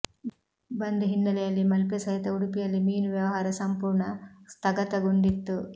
ಬಂದ್ ಹಿನ್ನೆಲೆಯಲ್ಲಿ ಮಲ್ಪೆ ಸಹಿತ ಉಡುಪಿಯಲ್ಲಿ ಮೀನು ವ್ಯವಹಾರ ಸಂಪೂರ್ಣ ಸ್ಥಗತಗೊಂಡಿತ್ತು